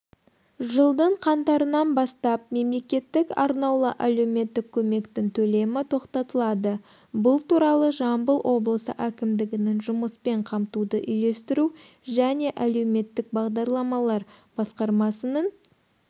жылдың қаңтарынан бастап мемлекеттік арнаулы әлеуметтік көмектің төлемі тоқтатылады бұл туралы жамбыл облысы әкімдігінің жұмыспен қамтуды үйлестіру және әлеуметтік бағдарламалар басқармасының